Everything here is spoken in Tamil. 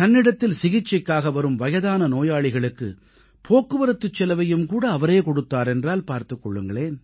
தன்னிடத்தில் சிகிச்சைக்காக வரும் வயதான நோயாளிகளுக்கு போக்குவரத்து செலவையும் கூட அவரே கொடுத்தார் என்றால் பார்த்துக் கொள்ளுங்களேன்